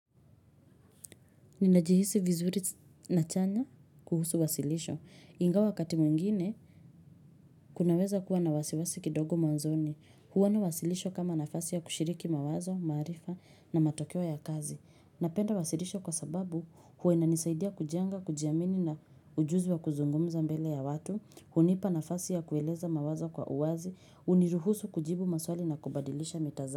Ninajihisi vizuri na chanya kuhusu wasilisho. Ingawa wakati mwingine, kunaweza kuwa na wasiwasi kidogo mwanzoni. Huwa na wasilisho kama nafasi ya kushiriki mawazo, maarifa na matokeo ya kazi. Napenda wasilisho kwa sababu huwa inanisaidia kujenga, kujiamini na ujuzi wa kuzungumza mbele ya watu, hunipa nafasi ya kueleza mawazo kwa uwazi, huniruhusu kujibu maswali na kubadilisha mitazamo.